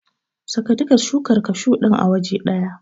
Saka duka shukar kashu din a waje ɗaya.